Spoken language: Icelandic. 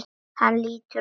Hann lítur á úrið.